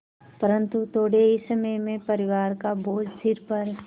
परन्तु थोडे़ ही समय में परिवार का बोझ सिर पर